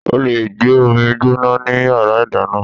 O lè gbé omi gbóná ní Yàrá ìdáná.